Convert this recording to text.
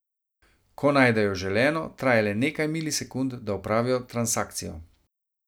Ko najdejo želeno, traja le nekaj milisekund, da opravijo transakcijo.